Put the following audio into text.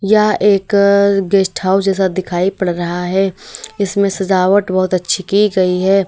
यह एक guest house जैसा दिखाई पड़ रहा है इसमें सजावट बहोत अच्छी की गई है।